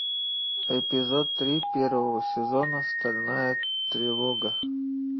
эпизод три первого сезона стальная тревога